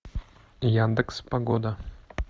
яндекс погода